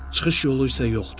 Çıxış yolu isə yoxdur.